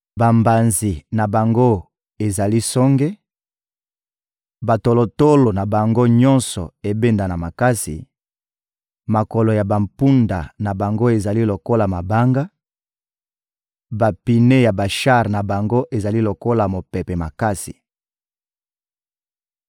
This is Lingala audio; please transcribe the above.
Bambanzi na bango ezali songe, batolotolo na bango nyonso ebendana makasi; makolo ya bampunda na bango ezali lokola mabanga, bapine ya bashar na bango ezali lokola mopepe makasi.